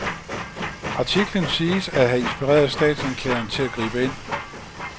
Artiklen siges at have inspireret statsanklageren til at gribe ind.